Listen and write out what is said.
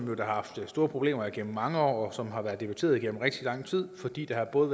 har haft store problemer igennem mange år og som har været debatteret igennem rigtig lang tid fordi der både